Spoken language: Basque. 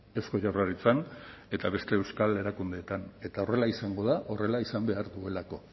eusko jaurlaritzan eta beste euskal erakundeetan eta horrela izango da horrela izan behar duelako